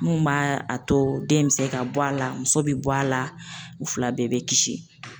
Mun b'a a to den bɛ se ka bɔ a la muso bɛ bɔ a la u fila bɛɛ bɛ kisi.